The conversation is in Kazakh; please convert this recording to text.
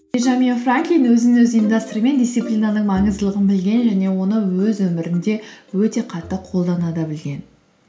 бенджамин франклин өзін өзі ұйымдастыруы мен дисциплананың маңыздылығын білген және оны өз өмірінде өте қатты қолдана да білген